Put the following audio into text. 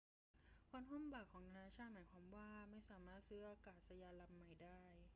การคว่ำบาตรของนานาชาติหมายวามว่าไม่สามารถซื้ออากาศยานลำใหม่ได้